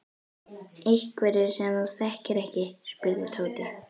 Einhverjir sem þú þekkir ekki? spurði Tóti.